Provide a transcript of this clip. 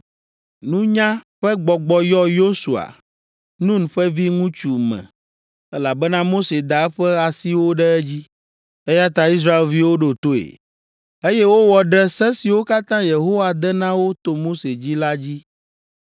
Nunya ƒe gbɔgbɔ yɔ Yosua, Nun ƒe viŋutsu me, elabena Mose da eƒe asiwo ɖe edzi, eya ta Israelviwo ɖo toe, eye wowɔ ɖe se siwo katã Yehowa de na wo to Mose dzi la dzi.